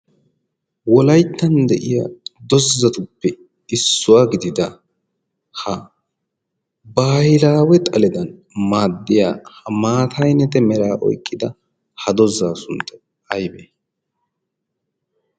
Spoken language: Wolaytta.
wolayttan de'iya dozzatuppe issuwaa gidida ha baahilaawe xaledan maaddiya ha maataynete meraa oyqqida ha dozzaa suntta aybee